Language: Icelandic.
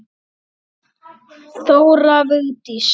Þóra Vigdís.